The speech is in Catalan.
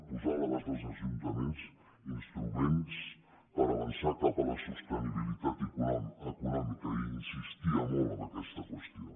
posar a l’abast dels ajuntaments instruments per avançar cap a la sostenibilitat econòmica hi insistia molt en aquesta qüestió